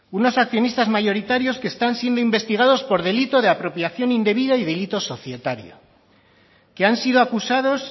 unos accionistas mayoritarios que están siendo investigados por delitos de apropiación indebida y delito societario que han sido acusados